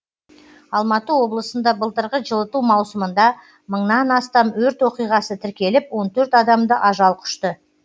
алматы облысында былтырғы жылыту маусымында мыңнан астам өрт оқиғасы тіркеліп он төрт адамды ажал құшты